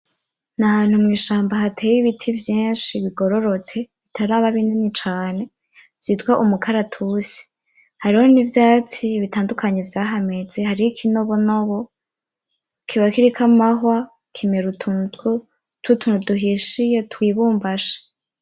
Ni ahantu mw'ishamba hateye ibiti vyinshi bigororotse bitaraba binini cane vyitwa umukaratusi hariho n'ivyatsi bitandukanye vyahameze hariho ikinobonobo kiba kiriko amahwa kimera utuntu tw'utuntu duhishiye twibumbashe.